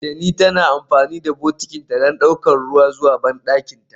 Teni tana amfani da bokitinta don ɗaukar ruwa zuwa bandakinta.